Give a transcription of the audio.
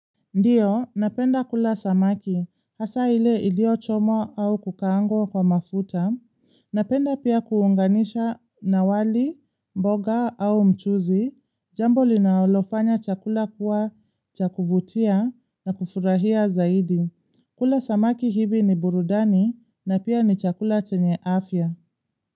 Ndio, napenda kula samaki, hasa ile iliyo chomwa au kukaangwa kwa mafuta, napenda pia kuunganisha na wali, mboga au mchuzi, jambo linalofanya chakula kuwa cha kuvutia na kufurahia zaidi. Kula samaki hivi ni burudani na pia ni chakula chenye afya.